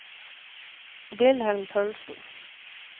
Wilhelm Paulsen